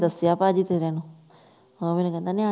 ਦਸਿਆ ਭਜੀ ਤੇਰੇ ਨੂੰ ਉਹ ਮੈਨੂੰ ਕਹਿੰਦਾ ਨਿਆਣੇ